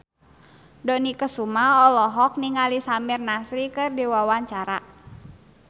Dony Kesuma olohok ningali Samir Nasri keur diwawancara